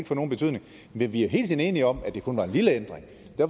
få nogen betydning men vi har hele tiden været enige om at det kun var en lille ændring